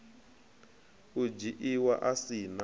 u dzhiiwa a si na